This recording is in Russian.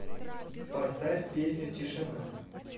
поставь песню тишина